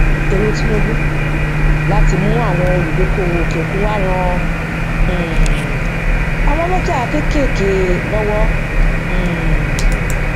èrò tinubu láti mú àwọn olúdókòwò òkè òkun wá ran um àwọn oloja kéékèèké lọwọ um